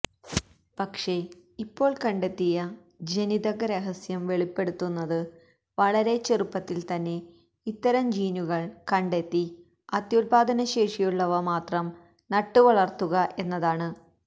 പക്ഷേ ഇപ്പോള് കണ്ടെത്തിയ ജനിതക രഹസ്യം വെളിപ്പെടുത്തുന്നത് വളരെ ചെറുപ്പത്തില്ത്തന്നെ ഇത്തരം ജീനുകള് കണ്ടെത്തി അത്യുത്പാദനശേഷിയുള്ളവ മാത്രം നട്ടുവളര്ത്തുക എന്നതാണ്